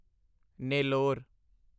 Nellore